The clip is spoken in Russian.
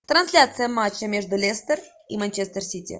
трансляция матча между лестер и манчестер сити